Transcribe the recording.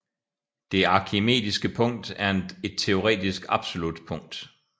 Det arkimediske punkt er et teoretisk absolut punkt